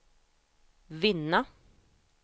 vinna